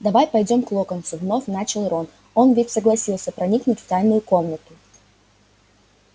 давай пойдём к локонсу вновь начал рон он ведь согласился проникнуть в тайную комнату